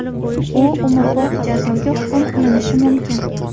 U umrbod jazoga hukm qilinishi mumkin.